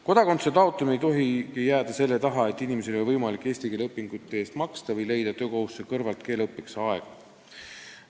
Kodakondsuse taotlemine ei tohi jääda selle taha, et inimesel ei ole võimalik eesti keele õpingute eest maksta või leida töökohustuste kõrvalt keeleõppeks aega.